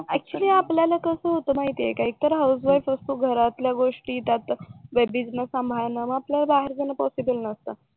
actually आपल्याला कसं होत माहित आहे का इतर हाऊसवाईफ असतात घरातल्या गोष्टी त्यात बेबी ना सांभाळणं मग आपल्याला बाहेर जाण पॉसिबल नसत